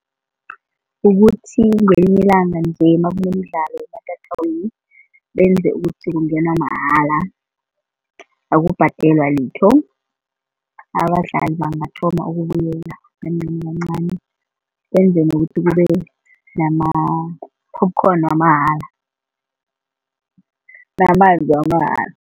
Ukuthi ngelinye ilanga nje nakunemidlalo ematatawini benze ukuthi kungenwa mahala akubhadelwa litho, abadlali bangathoma ukubuyela kancani kancani benzele ukuthi kube nama-popcorn wamahala namanzi wamahala.